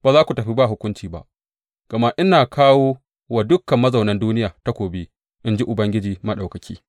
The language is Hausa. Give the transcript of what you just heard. Ba za ku tafi ba hukunci ba, gama ina kawo wa dukan mazaunan duniya takobi, in ji Ubangiji Maɗaukaki.’